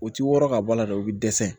U ti wɔrɔ ka bɔ a la dɛ u bi dɛsɛ